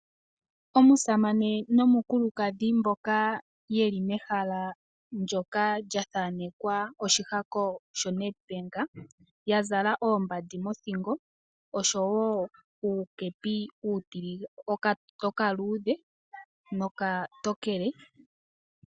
Omusamane nomukulukadhi mboka yeli mehala ndyoka lya thaanekwa oshihako shoNedbank ya zala oombandi mothingo oshowo uucapi okuluudhe mokatokele.